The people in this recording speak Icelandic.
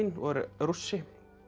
og er Rússi